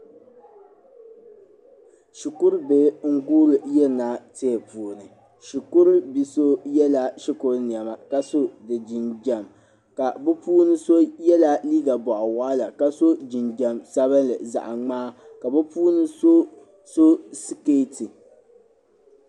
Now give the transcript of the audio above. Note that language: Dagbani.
Shikuru bihi n guri yirina tihi puuni shikuru bi so yɛla shikuru nɛna ka so di jinjɛm ka bɛ puuni so yɛlla liiga bɔɣu waɣila ka so jinjɛm sabinli zaɣi ŋmaa ka bi puuni so so sikɛti.